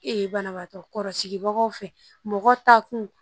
banabagatɔ kɔrɔsigibagaw fɛ mɔgɔ ta kun